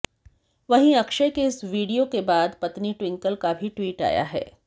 वहीं अक्षय के इस वीडियो के बाद पत्नी ट्विंकल का भी ट्वीट आया है